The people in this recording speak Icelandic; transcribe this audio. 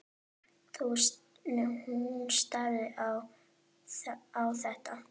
Hún starði á þetta.